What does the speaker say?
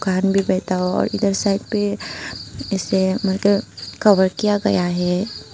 धान भी बैठा हो और इधर साइड पे ऐसे मार्क कवर किया गया है।